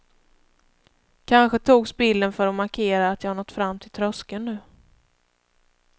Kanske togs bilden för att markera att jag nått fram till tröskeln nu.